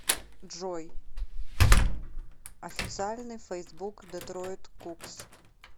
джой официальный фейсбук детройт кугз